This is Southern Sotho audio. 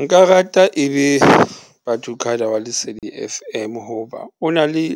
Nka rata ebe Ba2cada wa Lesedi F_M hoba o na le